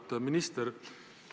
Auväärt minister!